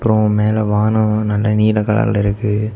ஒ மேல வானம் நல்லா நீல கலர்ல இருக்கு.